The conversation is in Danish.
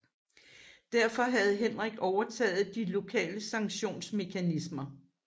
Derfor havde Henrik overtaget de lokale sanktionsmekanismer